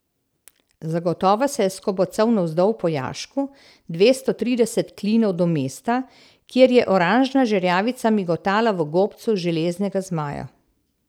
Zagotovo se je skobacal navzdol po jašku, dvesto trideset klinov do mesta, kjer je oranžna žerjavica migotala v gobcu železnega zmaja.